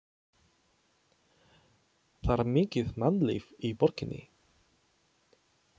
Það var mikið mannlíf í borginni.